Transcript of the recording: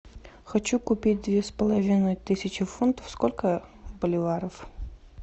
хочу купить две с половиной тысячи фунтов сколько боливаров